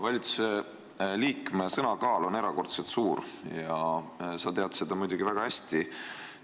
Valitsusliikme sõna kaal on erakordselt suur ja sa tead seda muidugi väga hästi.